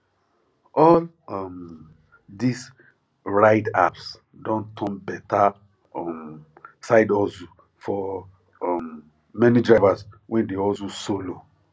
all um these ride apps don turn better um side hustle for um many drivers wey dey hustle solo